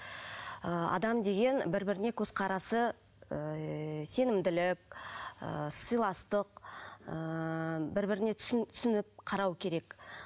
ыыы адам деген бір біріне көзқарасы ыыы сенімділік ыыы сыйластық ыыы бір біріне түсініп қарау керек